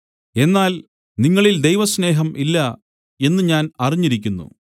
എന്നാൽ നിങ്ങളിൽ ദൈവസ്നേഹം ഇല്ല എന്നു ഞാൻ അറിഞ്ഞിരിക്കുന്നു